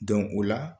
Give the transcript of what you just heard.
o la